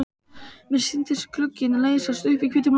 Mér sýndist glugginn leysast upp í hvítum loga.